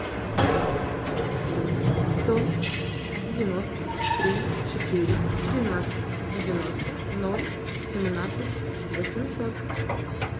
сто девяносто три четыре двенадцать девяносто ноль семнадцать восемьсот